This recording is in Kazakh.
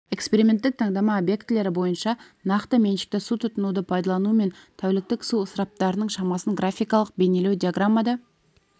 эксперименттік таңдама объектілері бойынша нақты меншікті су тұтынуды пайдалану мен тәуліктік су ысыраптарының шамасын графикалық бейнелеу диаграммада